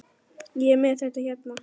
Ég er með þetta hérna.